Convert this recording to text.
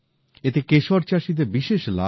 এতে কেশর চাষীদের বিশেষ লাভ হবে